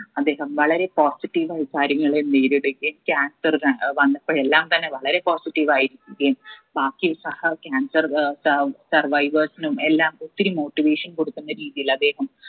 അദ്ദേഹം വളരെ positive ആയി കാര്യങ്ങലെ നേരിടുകയും cancer ത ഏർ വന്നുപോയെല്ലാം തന്നെ വളരെ positive ആയിരിക്കുകയും ബാക്കി സഹ cancer ഏർ അഹ് survivors നും എല്ലാം ഒത്തിരി motivation കൊടുക്കുന്ന രീതിയിൽ അദ്ദേഹം